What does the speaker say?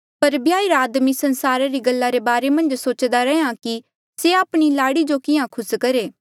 पर ब्याहिरा आदमी संसारा री गल्ला रे बारे मन्झ सोच्दा रैंहयां कि से आपणी लाड़ी जो किहाँ खुस करहे